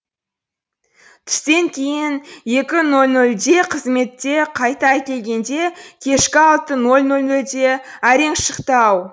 түстен кейін екі ноль нольде қызметке қайта әкелгенде де кешкі алты ноль нольде әрең шықты ау